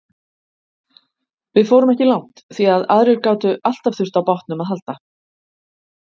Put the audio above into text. Við fórum ekki langt því að aðrir gátu alltaf þurft á bátnum að halda.